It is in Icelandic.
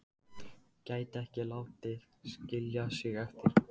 Hún horfði á hann með mikilli aðdáun.